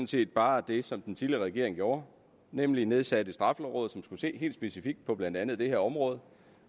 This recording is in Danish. set bare det som den tidligere regering gjorde nemlig at nedsætte straffelovrådet som skulle se helt specifikt på blandt andet det her område